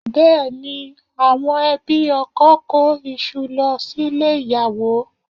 Bẹ́ẹ̀ ni, àwọn ẹbí ọkọ kó iṣu lọ sílé ìyàwó